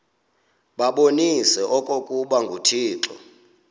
babonise okokuba uthixo